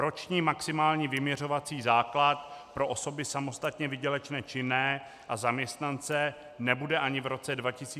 Roční maximální vyměřovací základ pro osoby samostatně výdělečné činné a zaměstnance nebude ani v roce 2016 zastropován.